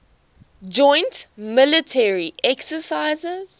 joint military exercises